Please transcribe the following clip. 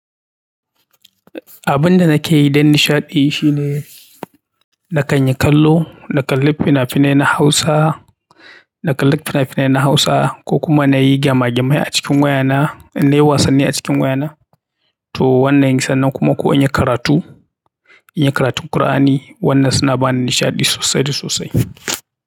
Abin da nake yi don nishaɗi shine na kan yi kallo, na kalli fina-finai na Hausa, na kalli fina-finai na Hausa ko kuma na yi gema gamai a cikin wayana, in na yi wasanni a cikin wayana. Toh wannan sannan kuma ko inyi karatu, inyi karatun Kur'ani. Wannan suna bani nishaɗi sosai da sosai.